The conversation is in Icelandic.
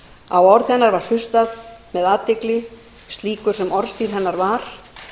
á orð hennar var hlustað með athygli slíkur sem orðstír hennar var